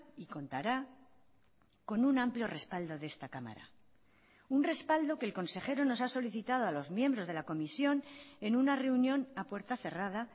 y contará con un amplio respaldo de esta cámara un respaldo que el consejero nos ha solicitado a los miembros de la comisión en una reunión a puerta cerrada